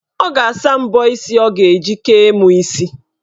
Ọ ga-asa mbọ isi ọ ga-eji kee mụ isi.